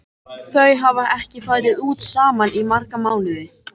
Þau hafa ekki farið út saman í marga mánuði.